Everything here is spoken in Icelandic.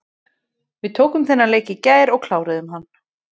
Við tókum þennan leik í gær og kláruðum hann.